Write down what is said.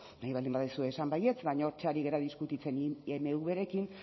nahi baldin baduzu esan baietz baina hortxe ari gara diskutitzen